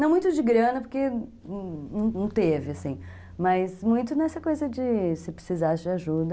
Não muito de grana, porque não não teve, mas muito nessa coisa de se precisasse de ajuda...